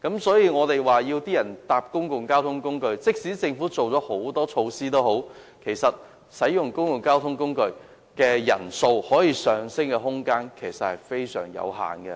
所以，即使政府推行很多措施鼓勵市民乘坐公共交通工具，其實使用公共交通工具的人數可上升的空間非常有限。